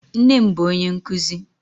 Nne m bụ onye nkuzi.